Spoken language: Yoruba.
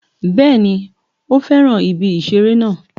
Bẹ́ẹ̀ni o fẹ́ràn ibi ìṣeré náà